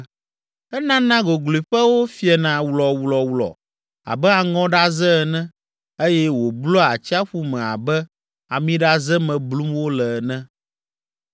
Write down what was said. Enana gogloƒewo fiena wlɔwlɔwlɔ abe aŋɔɖaze ene eye wòblua atsiaƒu me abe amiɖaze me blum wole ene.